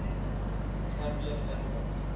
cambrian animals